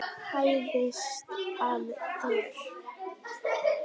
Hæðist að þér.